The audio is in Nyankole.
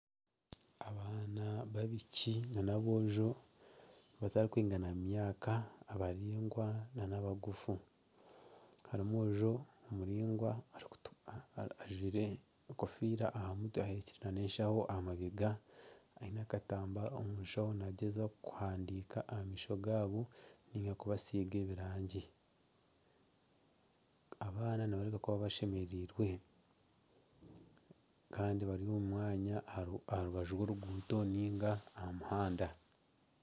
Abaana b'abaishiki n’aboojo abatakwingana mu myaka abaraingwa n'abagufu harimu omwojo omuraingwa ajwaire ekofiira aha mutwe aheekire na n'eshaaho aha mabega eine akatambara omu shaaho nagyezaho kuhandika aha maisho gaabo arikubasinga ebiraagi, abaana nibareebeka kuba abashemerirwe kandi bari omu mwanya aha rubaju rw'oruguuto nari aha muhanda.